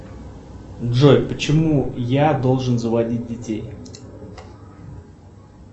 джой почему я должен заводить детей